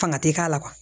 Fanga ti k'a la